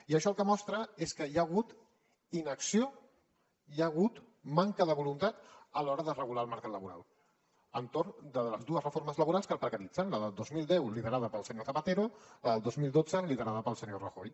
i això el que mostra és que hi ha hagut inacció hi ha hagut manca de voluntat a l’hora de regular el mercat laboral entorn de les dues reformes laborals que el precaritzen la del dos mil deu liderada pel senyor zapatero la del dos mil dotze liderada pel senyor rajoy